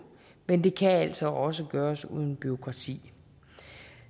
men det kan altså også gøres uden bureaukrati